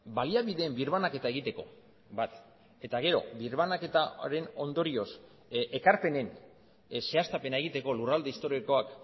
baliabideen birbanaketa egiteko bat eta gero birbanaketaren ondorioz ekarpenen zehaztapena egiteko lurralde historikoak